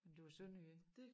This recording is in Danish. Men du er sønderjyde